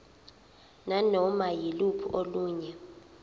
nanoma yiluphi olunye